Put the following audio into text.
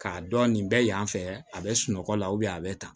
K'a dɔn nin bɛ yan fɛ a bɛ sunɔgɔ la a bɛ tan